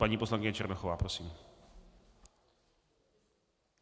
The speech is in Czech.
Paní poslankyně Černochová, prosím.